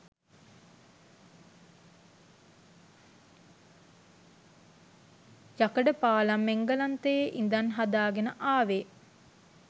යකඩ පාලම් එංගලන්තයේ ඉඳන් හදාගෙනයි ආවේ.